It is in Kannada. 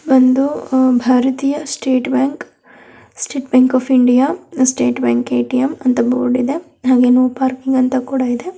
ಒಂದು ಆ ಭಾರತೀಯ state bank state bank of India state bank ATM ಅಂತ ಬೋರ್ಡ್ ಇದೆ ಹಾಗೆ ನೊ ಪಾರ್ಕಿಂಗ್ ಅಂತ ಕೂಡ ಇದೆ.